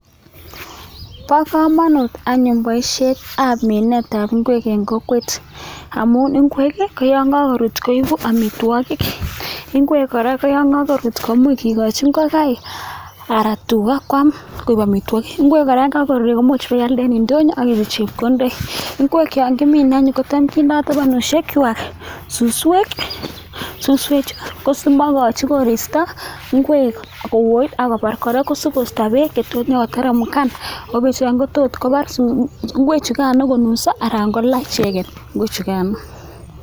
Bo kamanut anyun boisietab minetab ingwek eng kokwet amun ingwek koyon kakoruut koeku amitwokik, ingwek kora koyon karuut komuch kikochin ingokaik anan tuga kwaam koek amitwokik. Ingwek kora komuch ipialde eng indonyo ak inyoru chepkondoik. Ingwek yon cham kemine anyun kindoi tabanushek kwai suswek, suswechu ko simaikochi koristo ingwek koet ako mabar, kora asikoisto beek che tuun koteremkan ako cho tot kobaar ingwechukano konuso anan kola ichek ingwek chukan.